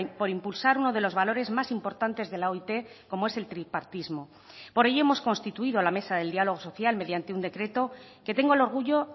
por impulsar uno de los valores más importantes de la oit como es el tripartismo por ello hemos constituido la mesa del diálogo social mediante un decreto que tengo el orgullo